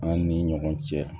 An ni ɲɔgɔn cɛ